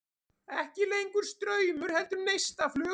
Ekki lengur straumur heldur neistaflug.